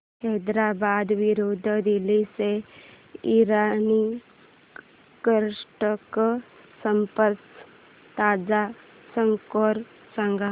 हैदराबाद विरुद्ध दिल्ली च्या इराणी करंडक स्पर्धेचा ताजा स्कोअर सांगा